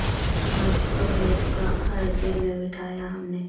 نقش توحید کا ہر دل میں بٹھایا ہم نے